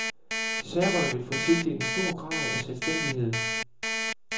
Serberne vil få tildelt en stor grad af selvstændighed.